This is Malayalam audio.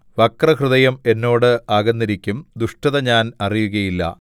വക്രഹൃദയം എന്നോട് അകന്നിരിക്കും ദുഷ്ടത ഞാൻ അറിയുകയില്ല